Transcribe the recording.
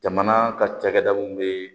Jamana ka cakɛda mun be